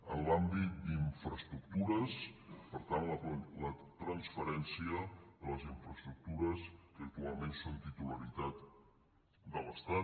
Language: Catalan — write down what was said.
en l’àmbit d’infraestructures per tant la transferència de les infraestructures que actualment són titularitat de l’estat